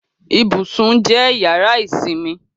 Ibùsùn jẹ́ yàrá ìsinmi